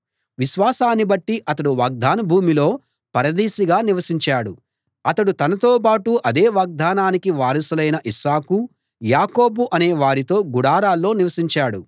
విశ్వాసాన్ని బట్టి అతడు వాగ్దాన భూమిలో పరదేశిగా నివసించాడు అతడు తనతోబాటు అదే వాగ్దానానికి వారసులైన ఇస్సాకు యాకోబు అనే వారితో గుడారాల్లో నివసించాడు